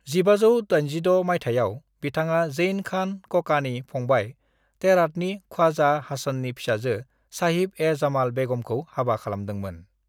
"1586 माइथायाव, बिथाङा जैन खान ककानि फंबाय हेरातनि ख्वाजा हासननि फिसाजो साहिब-ए-जमाल बेगमखौ हाबा खालामदोंमोन।"